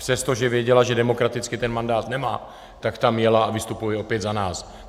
Přestože věděla, že demokraticky ten mandát nemá, tak tam jela a vystupuje opět za nás.